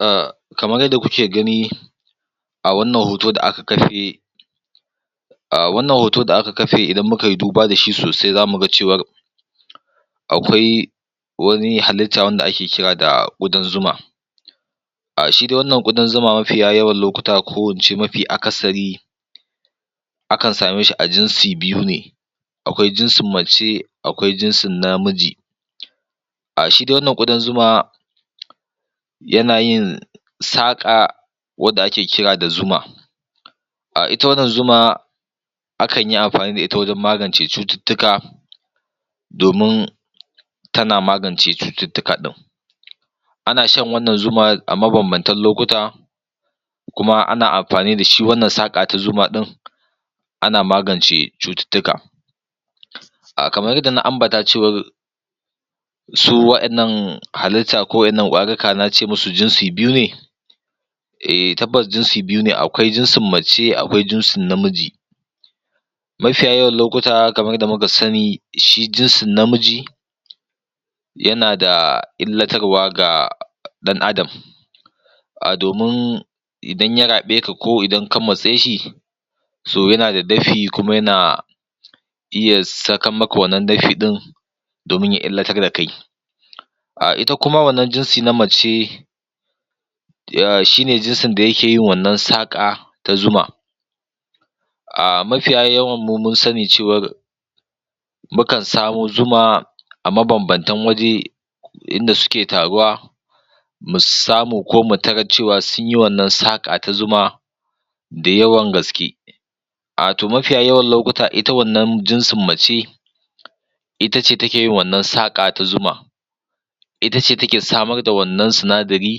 A kamar yadda kuke gani a wannan hoto da aka kafe A wannan hoto da a ka kafe idan mu ka yi duba da shi sosai za mu ga cewar akwai wani halitta wanda ake kira da ƙudan zuma. A shi dai wannan ƙudan zuma mafiya yawan lokuta ko in ce mafi akasari akan same shi a jinsu biyu ne. akwai jinsin mace akwai jinsin namiji. A shi dai wannan ƙudan zuma yana yin saƙa wadda ake kira da zuma. ita wannan zuma, akan yi amfani wajen magance cututtuka domin tana magance cututtuka ɗin. Ana shan wannan zuma a mabanbantan lokuta, kuma ana amfani da shi wannan saƙa ta zuma ɗin, ana magance cututtuka. Kamar yadda na ambata cewar Su waɗannan halitta ko waɗannan ƙwarika na ce masu jinsi biyu ne eh, tabbas jinsi biyu ne akwai jinsin mace akwai jinsin namiji. mafiya yawan lokuta kamar yadda muka sani, shi jinsin namiji yana da illatarwa ga ɗan'adam domin idan ya raɓe ka ko idan ka matse shi, yana da dafi kuma yana iya sakan maka wannan dafi ɗin domin ya illatar da kai. A ita kuma wannan jinsi ta mace shi ne jinsin da yake wannan saƙa ta zuma, mafiya yawanmu mun sani cewar mukan samo zuma a mabambantan waje, inda suke taruwa mu samu mu tarar cewa sun yi wannan saƙar ta zuma. da yawan gaske. Mafiya yawan lokuta ita wannan jinsin mace ita ce take yin wannan saƙa ta zuma. ita ce take samar da wannan sinadarin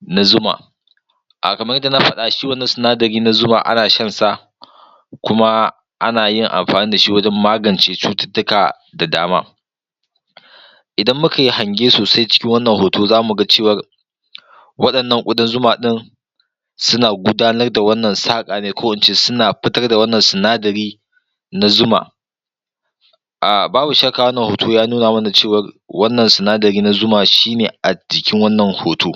na zuma. kamar yadda na faɗa shi wannan sidari na zuma ana shansa, kuma, ana yin amfani da shi wajen magance cututtuka da dama. Idan mu kayi hange sosai cikin wannan hoto za mu ga cewar waɗannan ƙudan zuma ɗin, suna gudanar da wannan saƙar ko in ce suna fitar da wannan sinadari na zuma Babu shakka wannan hoto ya nuna mana cewar wannan sinadari na zuma shi ne a jikin wannan hoto.